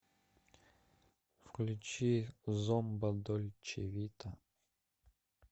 включи зомба дольче вита